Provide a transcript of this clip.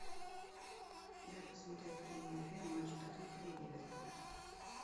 дай посмотреть прямой эфир матча тоттенхэм ливерпуль